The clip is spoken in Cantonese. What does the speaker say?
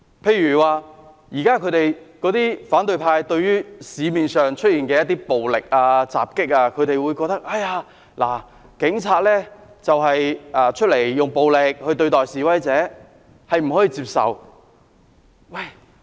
舉例而言，對於現時社會上的一些暴力襲擊，反對派認為警方用暴力對待示威者是不可以接受的。